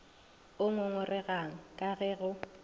o ngongoregang ka ge go